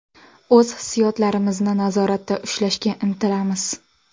O‘z hissiyotlarimizni nazoratda ushlashga intilamiz”.